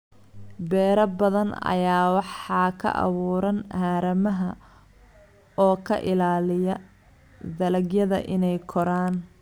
Beero badan ayaa waxaa ka buuxa haramaha oo ka ilaaliya dalagyada inay koraan.